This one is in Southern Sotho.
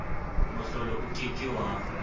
mohlolo o ke ke wa